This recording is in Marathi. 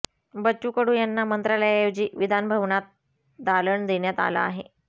बच्चू कडू यांना मंत्रालयाऐवजी विधानभवनात दालन देण्यात आलं आहे